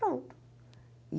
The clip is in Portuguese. Pronto.